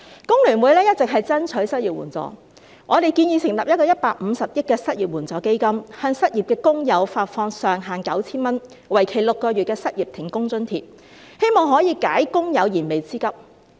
工聯會一直爭取失業援助，我們建議成立一個150億元的失業援助基金，向失業的工友發放上限 9,000 元，為期6個月的失業停工津貼，希望可以解工友燃眉之急。